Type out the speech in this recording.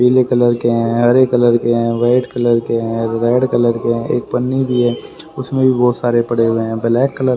पीले कलर के हैं हरे कलर के हैं व्हाइट कलर के हैं रेड कलर के हैं एक पन्नी भी है उसमें भी बहुत सारे पड़े हुए हैं ब्लैक कलर --